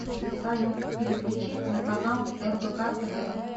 салют переключить на канал рбк тв